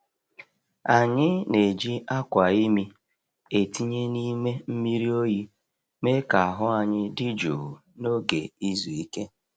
Anyị na-eji akwa imi e tinye n’ime mmiri oyi mee ka ahụ anyi dị jụụ n’oge izu ike.